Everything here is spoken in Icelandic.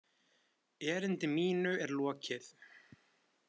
Erindi mínu er lokið!